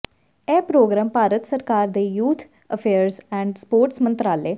ਇਹ ਪ੍ਰਰੋਗਰਾਮ ਭਾਰਤ ਸਰਕਾਰ ਦੇ ਯੂਥ ਅਫੇਅਰਜ਼ ਐਂਡ ਸਪੋਰਟਸ ਮੰਤਰਾਲੇ